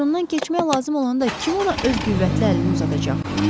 Uçurumdan keçmək lazım olanda kim ona öz qüvvətli əlini uzadacaq?